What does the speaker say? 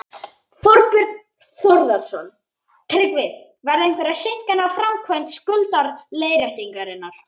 Þorbjörn Þórðarson: Tryggvi, verða einhverjar seinkanir á framkvæmd skuldaleiðréttingarinnar?